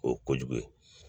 O ye kojugu ye